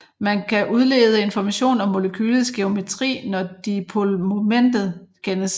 Man kan udlede information om molekylets geometry når dipolmomentet kendes